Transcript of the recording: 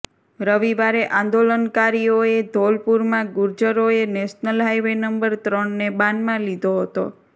રવિવારે આંદોલનકારીઓએ ધોલપુરમાં ગુર્જરોએ નેશનલ હાઈવે નંબર ત્રણને બાનમાં લીધો હતો